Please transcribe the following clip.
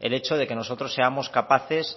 el hecho de que nosotros seamos capaces